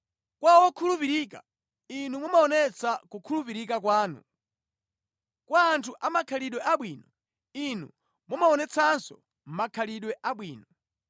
“Kwa wokhulupirika, Inu mumaonetsa kukhulupirika kwanu, kwa anthu amakhalidwe abwino, Inu mumaonetsanso makhalidwe abwino,